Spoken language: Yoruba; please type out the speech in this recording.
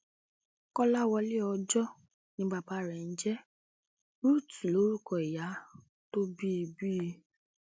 kọláwọlé ọjọ ni bàbá rẹ ń jẹ ruth lórúkọ ìyá tó bí i bí i